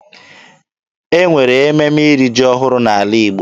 E nwere ememe iri ji ọhụrụ n'ala Igbo.